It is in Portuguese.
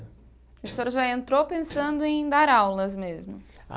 E o senhor já entrou pensando em dar aulas mesmo?